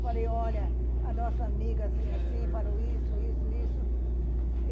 Falei, olha, a nossa amiga assim, assim, falou isso, isso, isso.